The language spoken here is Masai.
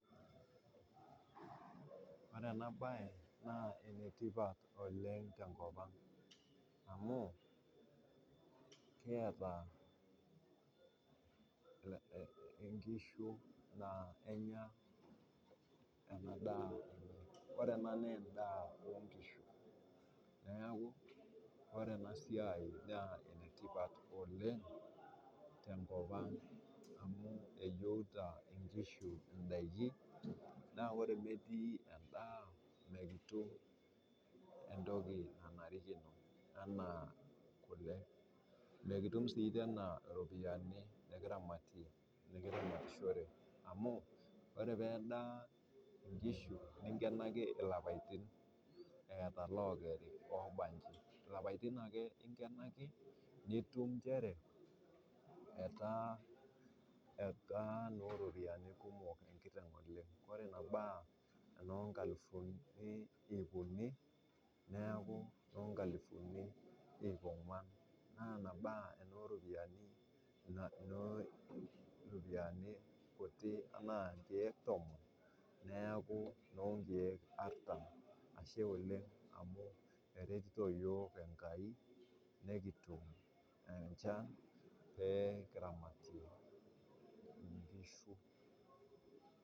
Ore ena baye naa enetipat oleng te nkopang amu kieta inkishu naa kenyaa ena daa. Kore ena naa inda oonkishu, neaku ore ena siai naa enetipat oleng amu eyeuta nkishu indaki, naaku ore emetii endaa mikitum entoki nanarikino anaa kule. Mikitum sii anaa iropiyiani nikiramatie, nikiramatishore amuu ore pedaa inkishu ninkenanki lapaitin eata ale okeri oba inji, lapatin ake ingenaki nitum inchere etaa noo ropiyiani kumok enkiteng oleng, ore nebaa oonoo nkalufuni iip unii neaku noo nkalufuni ongwana, naa ina ba oo ropiyiani kutii ama aa inkeek tomon neaku noo inkeek artam, ache oleng amu eretito yook enkai pee kitum inchan pee kiramatie inkishu.